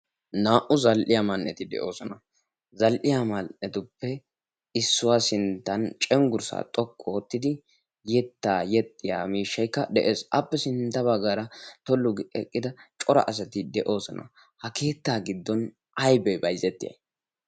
naa"u zal"iyaa man"eti de'oosona. zal"iya man"etuppe issuwaa sinttan cenggurssaa xoqqu oottidi yettaa yexxiya miishshaikka de'ees. appe sintta baggaara tollug eqqida cora asati de'oosona. ha keettaa giddon aybee bayzettii?